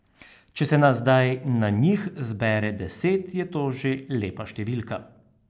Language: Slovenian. Če se nas zdaj na njih zbere deset, je to že lepa številka.